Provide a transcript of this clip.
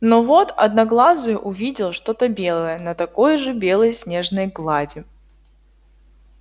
но вот одноглазый увидел что то белое на такой же белой снежной глади